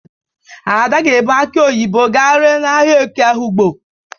Ada ga-ebu akị onyibo ga ree n'ahịa eke Ehụgbọ.